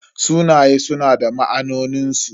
Sunaye suna da ma'anonin su.